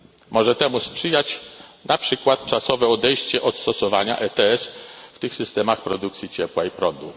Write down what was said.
Może temu sprzyjać na przykład czasowe odejście od stosowania ETS w tych systemach produkcji ciepła i prądu.